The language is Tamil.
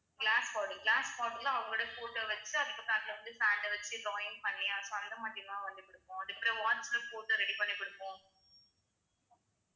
glass bottle glass bottle ல அவங்களோட photo வச்சுட்டு அதுக்கப்புறம் அதுல வந்து sand அ வச்சு join பண்ணி அது வந்து கொடுப்போம் அதுக்கப்புறம் watch ல photo ready பண்ணி கொடுப்போம்